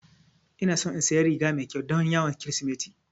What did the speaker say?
Ina so in saya riga mai ƙyau don yawon kirismeti